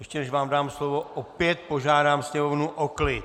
Ještě než vám dám slovo, opět požádám sněmovnu o klid.